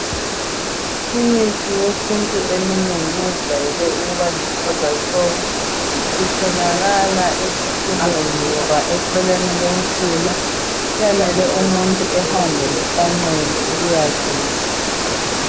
Imithi yesintu eminengi ejwayele ukuba luhlaza tshoko. Itholakala esifuleni loba eceleni komfula kuyamele umuntu ehambe lesancele ukuyageca.